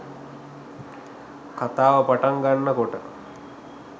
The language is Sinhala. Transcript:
කතාව පටන් ගන්නකොට